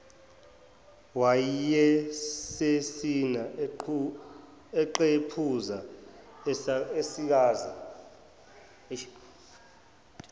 wayesesina eqephuza esikaza